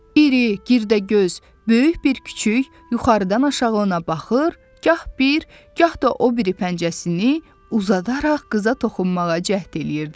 İri, girdəgöz, böyük bir küçüy yuxarıdan aşağı ona baxır, gah bir, gah da o biri pəncəsini uzadaraq qıza toxunmağa cəhd eləyirdi.